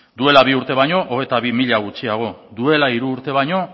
duela bi urte baino hogeita bi mila gutxiago duela hiru urte baino